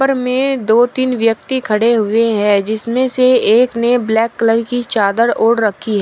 में दो तीन व्यक्ति खड़े हुए है जिसमे से एक ने ब्लैक कलर की चादर ओढ रखी है।